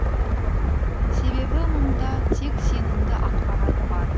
себебі мұнда тек сенімді ақпарат бар